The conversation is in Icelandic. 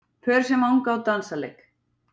Pör sem vanga á dansleik.